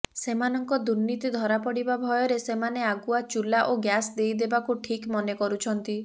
ସେମାନଙ୍କ ଦୁର୍ନୀତି ଧରାପଡିବା ଭୟରେ ସେମାନେ ଆଗୁଆ ଚୁଲା ଓ ଗ୍ୟାସ ଦେଇଦେବାକୁ ଠିକ୍ ମନେ କରୁଛନ୍ତି